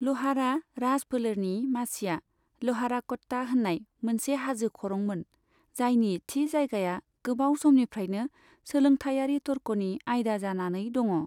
ल'हारा राज फोलेरनि मासिया ल'हाराक'ट्टा होननाय मोनसे हाजो खरं मोन, जायनि थि जायगाया गोबाव समनिफ्रायनो सोलोंथाइयारि थर्ख'नि आइदा जानानै दङ'।